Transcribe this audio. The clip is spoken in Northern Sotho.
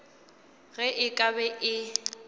ge e ka be e